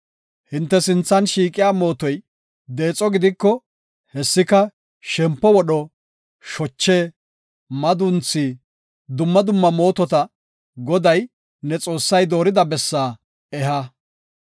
Hinte sinthe shiiqiya mootoy deexo gidiko, hessika, shempo wodho, shoche, madunthi, dumma dumma mootota Goday, ne Xoossay doorida bessaa eha.